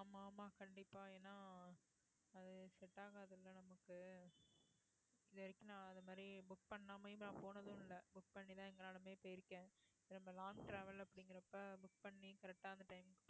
ஆமா ஆமா கண்டிப்பா ஏன்னா அது book பண்ணாமயம் நாம் போனதும் இல்ல book பண்ணி தான் எங்கனாலுமே போய் இருக்கேன் long travel அப்டிங்கறப்ப book பண்ணி